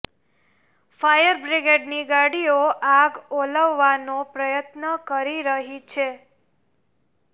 fire બ્રિગેડની ગાડીઓ આગ ઓલવવાનો પ્રયત્ન કરી રહી છે